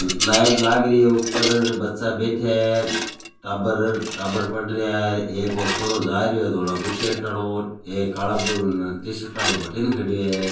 लाइट लागरी है ऊपर बच्चा बैठे है टाबर टाबर पढ़ रहे है एक ओ छोरो जा रियो --